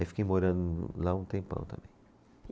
Aí fiquei morando lá um tempão também.